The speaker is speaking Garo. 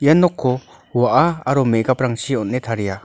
nokko wa·a aro me·gaprangchi on·e taria.